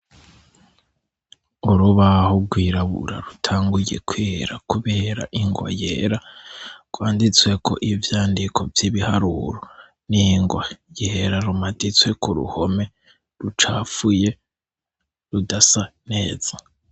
Urubaho rwirabura rutanguye kwera kubera ingwa yera, rwanditsweko ivyandiko vy' ibiharuro n' ingwa yera, rumaditswe ku ruhome rucafuye, rudasa neza.